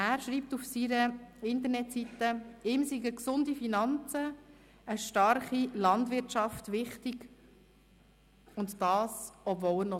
Wir sprechen hier manchmal auch über andere junge Leute, und deshalb finde ich es sehr schön, hier auch solche zu sehen, die so begabt sind.